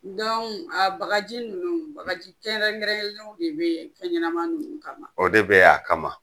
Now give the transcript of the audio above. a bagaji nunnu ,bagaji kɛnrɛnkɛrɛnnen de be fɛn ɲɛnama nunnu kama? O de be yen a kama.